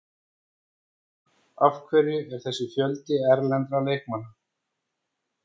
Af hverju er þessi fjöldi erlendra leikmanna?